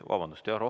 Vabandust!